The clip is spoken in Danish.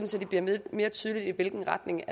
så det bliver mere mere tydeligt i hvilken retning